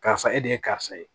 Karisa e de ye karisa ye